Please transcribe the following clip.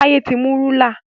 Taye tí mú Rúlà.